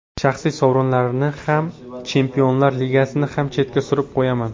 Shaxsiy sovrinlarni ham, Chempionlar Ligasini ham chetga surib qo‘yaman.